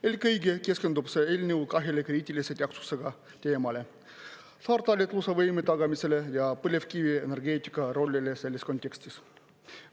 Eelkõige keskendub see eelnõu kahele kriitilise tähtsusega teemale: saartalitluse võimekuse tagamisele ja põlevkivienergeetika rollile selles kontekstis.